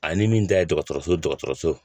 Ani min ta ye dɔgɔtɔrɔso